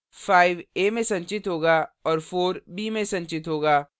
5 a में संचित होगा और 4 b में संचित होगा